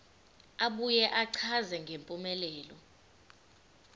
abuye achaze ngempumelelo